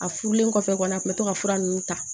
A furulen kɔfɛ kɔni a tun bɛ to ka fura ninnu ta